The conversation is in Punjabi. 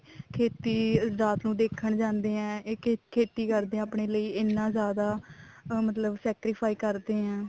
ਖੇਤੀ ਰਾਤ ਨੂੰ ਦੇਖਣ ਜਾਂਦੇ ਆ ਇੱਕ ਖੇਤੀ ਕਰਦੇ ਆ ਆਪਣੇ ਲਈ ਇੰਨਾ ਜਿਆਦਾ ਮਤਲਬ sacrifice ਕਰਦੇ ਆ